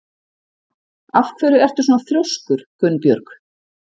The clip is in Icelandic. Af hverju ertu svona þrjóskur, Gunnbjörg?